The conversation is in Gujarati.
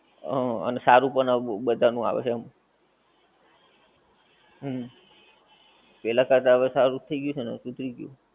હા અને સારું પણ હવે બધાનું આવે છે એમ. હમ્મ પહેલા કરતાં હવે સારું થઈ ગ્યું છે ને, સુધરી ગયું છે.